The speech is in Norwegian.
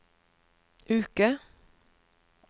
uke